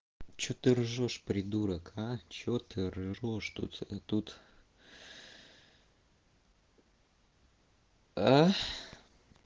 что ты ржёшь придурок а что ржёшь тут тут а